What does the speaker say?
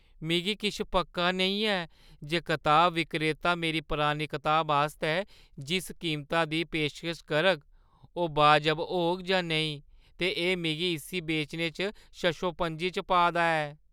मिगी किश पक्का नेईं ऐ जे कताब विक्रेता मेरी परानी कताबा आस्तै जिस कीमता दी पेशकश करग ओह् बाजब होग जां नेईं, ते एह् मिगी इस्सी बेचने च शशोपंजै च पा दा ऐ।